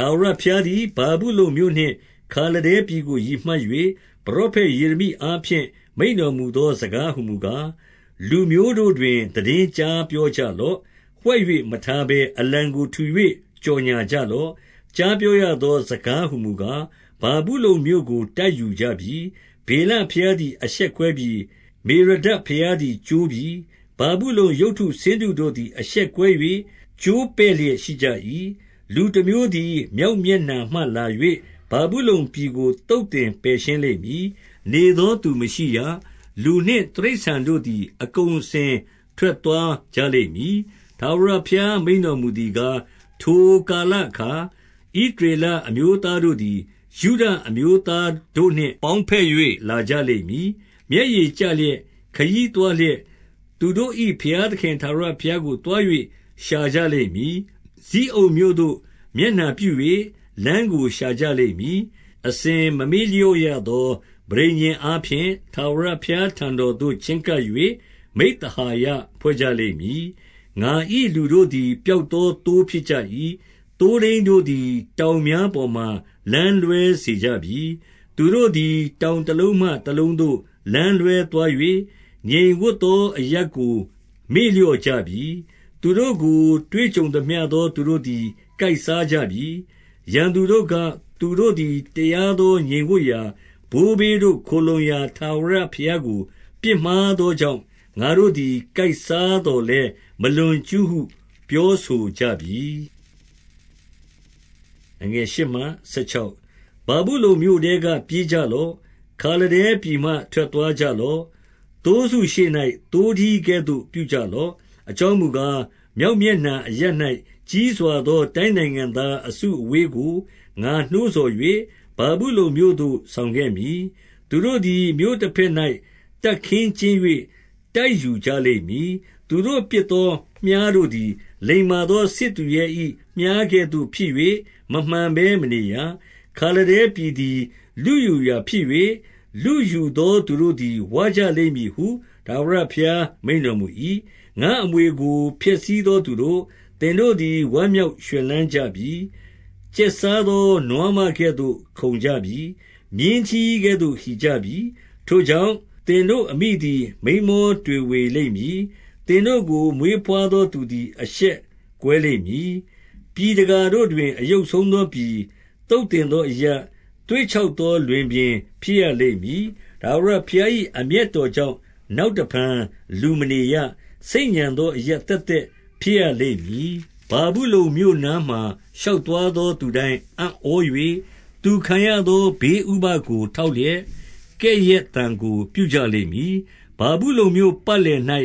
ထာဝရဘုရားသည် ဗာဗုလုန်မြို့နှင့်ခါလဒဲပြည် ကို ရည်မှတ်၍၊ ပရောဖက်ယေရမိအားဖြင့် မိန့်တော် မူသောစကားဟူမူကား၊ 2 လူမျိုးတို့တွင် သိတင်းကြားပြောကြလော့။ ဝှက်၍ မထားဘဲအလံကို ထူ၍ကြော်ငြာကြလော့။ ကြားပြောရသောစကားဟူမူကား၊ ဗာဗုလုန်မြို့ကို တိုက်ယူကြပြီ။ ဗေလဘုရားသည် အရှက်ကွဲပြီ။ မေရော ဒပ်ဘုရားသည် ကျိုးပြီ။ ဗာဗုလုန်ရုပ်တုဆင်းတုတို့သည် အရှက်ကွဲ၍ကျိုးပဲ့လျက်ရှိကြ၏။ 3 လူတမျိုးသည် မြောက်မျက်နှာမှလာ၍ ဗာဗု လုန်ပြည်ကို သုတ်သင်ပယ်ရှင်းလိမ့်မည်။ နေသော သူမရှိရ။ လူနှင့်တိရစ္ဆာန်တို့သည်။ အကုန်အစင် ထွက်သွားကြလိမ့်မည်။ 4 ထာဝရဘုရားမိန့်တော်မူသည်ကား၊ ထိုကာလ အခါ ဣသရေလအမျိုးသား တို့သည် ယုဒအမျိုးသား တို့နှင့် ပေါင်းဘက်၍လာကြလိမ့်မည်။ မျက်ရည်ကျလျက်၊ ခရီးသွားလျက်၊ သူတို့၏ဘုရားသခင်ထာဝရဘုရားကို သွား၍ ရှာကြလိမ့်မည်။ 5 ဇိအုန်မြို့သို့ မျက်နှာပြု၍ လမ်းကို ရှာကြလိမ့် မည်။ အစဉ်မမေ့လျော့ရသော ပဋိညာဉ်အားဖြင့် ထာဝရဘုရားထံတော်သို့ ချဉ်းကပ်၍ မိဿဟာယ ဖွဲ့ကြလိမ့်မည်။ 6 ငါ၏လူတို့သည် ပျောက်သောသိုးဖြစ်ကြပြီ။ သိုးထိန်းတို့သည် တောင်များပေါ်မှာလမ်းလွဲစေကြပြီ။ သူတို့သည်တောင်တလုံးမှတလုံးသို့ လမ်းလွဲသွား၍၊ ငြိမ်ဝပ်သောအရပ်ကိုမေ့လျော့ကြပြီ။ 7 သူတို့ကို တွေ့ကြုံသမျှသောသူတို့သည် ကိုက်စား ကြပြီ။ ရန်သူတို့က၊ သူတို့သည်တရားသော ငြိမ်ဝပ်ရာ၊ ဘိုးဘေးတို့ခိုလှုံရာ ထာဝရဘုရား ကိုပြစ်မှားသောကြောင့်၊ ငါတို့သည်ကိုက်စားသော်လည်း မလွန်ကျူးဟု ပြောဆို ကြပြီ။ 8 ဗာဗုလုန်မြို့ထဲကပြေးကြလော့။ ခါလဒဲပြည်မှ ထွက်သွားကြလော့။ သိုးစုရှေ့၌ သိုးထီးကဲ့သို့ပြုကြလော့။ 9 အကြောင်းမူကား၊ မြောက်မျက်နှာအရပ်၌ ကြီးစွာသော တိုင်းနိုင်ငံသားအစုအဝေးကို ငါနှိုးဆော်၍၊ ဗာဗုလုန်မြို့သို့ ဆောင်ခဲ့သမည်။ သူတို့သည် မြို့တဘက်၌ တပ်ခင်းကျင်း၍ တိုက်ယူကြလိမ့်မည်။ သူတို့ကစ်သော မြှားတို့သည် လိမ္မာသော စစ်သူရဲ၏ မြှားကဲ့သို့ဖြစ်၍ မမှန်ဘဲမနေရ။ 10 ခါလဒဲပြည်သည် လုယူရာဖြစ်၍၊ လုယူသော သူတို့သည် ဝကြလိမ့်မည်ဟု ထာဝရဘုရားမိန့်တော်မူ၏။ 11 ငါ့အမွေကို ဖျက်ဆီးသောသူတို့၊ သင်တို့သည် ဝမ်းမြောက်ရွှင်လန်းကြပြီ။ကျက်စားသောနွားမကဲ့သို့ ခုန်ကြပြီ။ မြင်းထီးကဲ့သို့ ဟီကြပြီ။ 12 ထိုကြောင့်၊ သင်တို့ အမိသည် မိန်းမော တွေဝေလိမ့်မည်။ သင်တို့ကိုမွေးဘွားသော သူသည် အရှက်ကွဲလိမ့်မည်။ ပြည်တကာတို့တွင် အယုတ်ဆုံးသော ပြည်၊ သုတ်သင်သောအရပ်၊ သွေ့ခြောက်သော လွင်ပြင် ဖြစ်ရလိမ့်မည်။ 13 ထာဝရဘုရား၏ အမျက်တော်ကြောင့် နောက် တဖန်လူမနေရ။ ဆိတ်ညံသောအရပ် သက်သက်ဖြစ်ရ လိမ့်မည်။ ဗာဗုလုန်မြို့နားမှာ ရောက်သွားသော သူတိုင်း အံ့ဩ၍၊ သူခံရသောဘေးဥပဒ်ကို ထောက်လျက်၊ ကဲ့ရဲ့ သံကိုပြုကြလိမ့်မည်။ 14 ဗာဗုလုန်မြို့ပတ်လည်၌